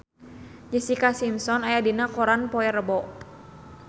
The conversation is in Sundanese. Jessica Simpson aya dina koran poe Rebo